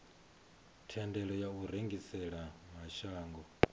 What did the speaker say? thendelo ya u rengisela mashango